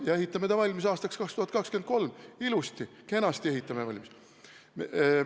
Me ehitame ta valmis aastaks 2023, ilusti-kenasti ehitame valmis.